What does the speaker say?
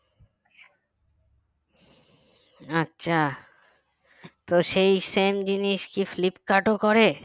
আচ্ছা তো same জিনিস কি ফ্লিপকার্টও করে